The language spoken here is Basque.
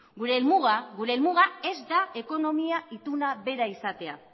gure helmuga ez da ekonomia ituna bera izatea